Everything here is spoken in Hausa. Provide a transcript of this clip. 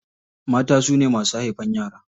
Mata su ne masu haifan yara.